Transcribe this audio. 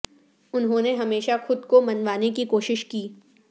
انہوں نے ہمیشہ خود کو منوانے کی کوشش کی